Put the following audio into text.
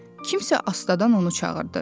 Kimsə astadan onu çağırdı.